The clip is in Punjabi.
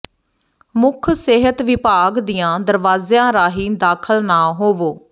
ਮੁੱਖ ਸਿਹਤ ਵਿਭਾਗ ਦੀਆਂ ਦਰਵਾਜ਼ਿਆਂ ਰਾਹੀਂ ਦਾਖ਼ਲ ਨਾ ਹੋਵੋ